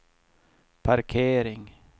parkering